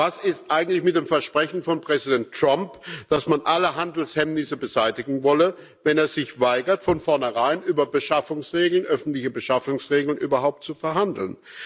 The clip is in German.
Was ist eigentlich mit dem Versprechen von Präsident Trump, dass man alle Handelshemmnisse beseitigen wolle, wenn er sich weigert, von vornherein über öffentliche Beschaffungsregeln überhaupt zu verhandeln?